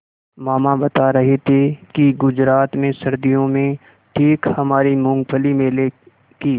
मामा बता रहे थे कि गुजरात में सर्दियों में ठीक हमारे मूँगफली मेले की